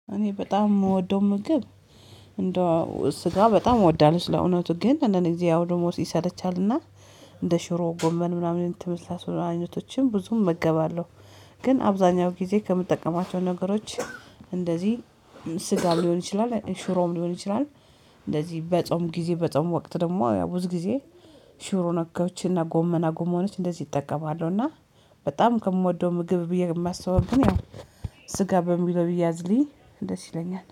እኔ በጣም የምወደው ምግብ እንደው ስጋ በጣም እወዳለሁ። ስለእውነቱ ግን አንዳንድ ግዜ ያዉደግሞ ሲሰለቻልና እንደ ሽሮ ጎመን ምናምን የመሳሰሉ አይነቶችን ብዙ እመገባለሁ። ግን አብዛኛው ጊዜ ከምጠቀማቸው ነገሮች እንደዚህ ስጋ ሊሆን ይችላል ሽሮም ሊሆን ይችላል። እንደዚህ በጾም ጊዜ በጾም ወቅት ደግሞ ያው ብዙ ጊዜ ሽሮ ነገዎችንና ጎመና ጎመኖችን እንደዚህ እጠቀማለሁና። በጣም ከምወደው ምግብ ብዬ የማስበው እንግዲህ ያው ስጋ በሚለው ቢያዝልኝ ደስ ይለኛል